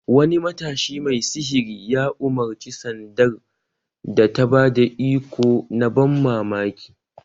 Wani matashi mai sihiri ya umarci sandar da ta ba da iko na ban mamaki!